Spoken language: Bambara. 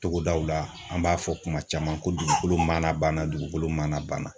Togodaw la an b'a fɔ kuma caman ko dugukolo mana banna dugukolo mana banna.